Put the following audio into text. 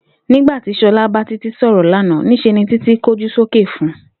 Nígbà ti S̩o̩la bá Títí sò̩rò̩ lánàá, ní s̩e ni Titi kójú sókè fun